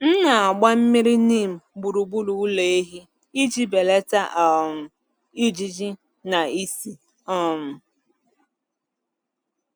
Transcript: M na-agba mmiri neem gburugburu ụlọ ehi iji belata um ijiji na ísì. um